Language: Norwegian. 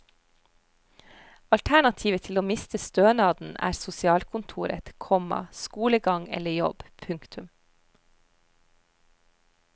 Alternativet til å miste stønaden er sosialkontoret, komma skolegang eller jobb. punktum